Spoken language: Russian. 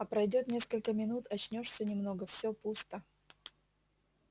а пройдёт несколько минут очнёшься немного все пусто